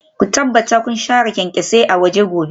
Ku tabbata kun share kyanksosai a waje gobe